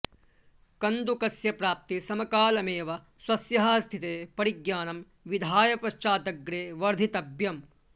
कन्दुकस्य प्राप्तिसमकालमेव स्वस्याः स्थितेः परिज्ञानं विधाय पश्चादग्रे वर्धितव्यम्